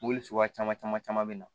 Wuli suguya caman caman bɛ na